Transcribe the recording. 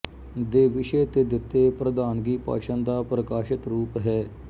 ਦੇੇ ਵਿਸੇ਼ ਤੇ ਦਿੱਤੇ ਪ੍ਰਧਾਨਗੀ ਭਾਸ਼ਣ ਦਾ ਪ੍ਰਕਾਸ਼ਿਤ ਰੂਪ ਹੈ